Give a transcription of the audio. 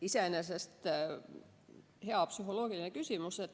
Iseenesest hea psühholoogiline küsimus.